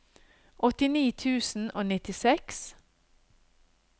åttini tusen og nittiseks